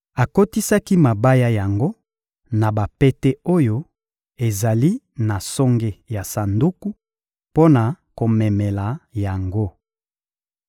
Akotisaki mabaya yango na bapete oyo ezali na songe ya Sanduku, mpo na komemela yango.